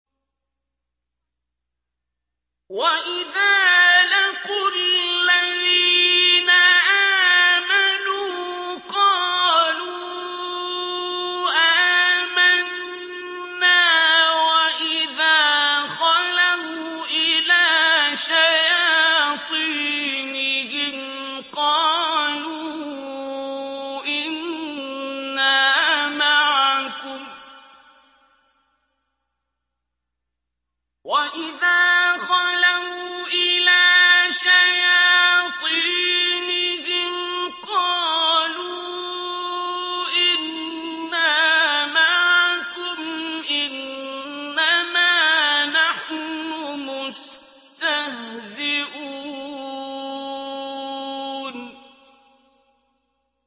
وَإِذَا لَقُوا الَّذِينَ آمَنُوا قَالُوا آمَنَّا وَإِذَا خَلَوْا إِلَىٰ شَيَاطِينِهِمْ قَالُوا إِنَّا مَعَكُمْ إِنَّمَا نَحْنُ مُسْتَهْزِئُونَ